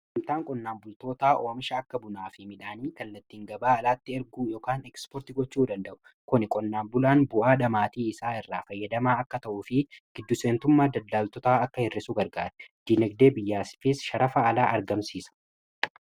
Daldalaa qonnaan bultootaa oomisha akka bunaa fi midhaanii kan itti gabaa alaatti erguu gochuu danda'u dha.